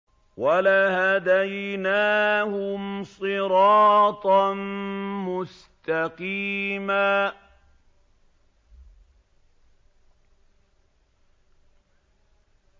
وَلَهَدَيْنَاهُمْ صِرَاطًا مُّسْتَقِيمًا